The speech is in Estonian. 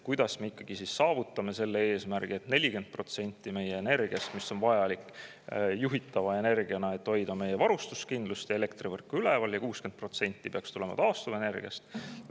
Kuidas me ikkagi saavutame selle eesmärgi, et 40% meie energiast oleks juhitav energia, et hoida meie varustuskindlust ja elektrivõrku üleval, ning 60% peaks tulema taastuvenergiast?